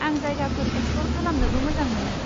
आं जायगाफोर एक्सप्लर खालामनोबो मोजां मोनो।